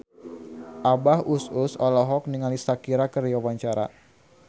Abah Us Us olohok ningali Shakira keur diwawancara